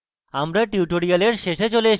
আমরা tutorial শেষে চলে এসেছি